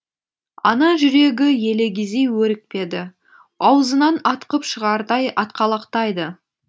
ана жүрегі елегізи өрекпіді аузынан атқып шығардай атқалақтайды